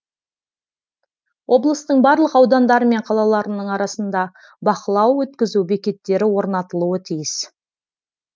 облыстың барлық аудандары мен қалаларының арасында бақылау өткізу бекеттері орнатылуы тиіс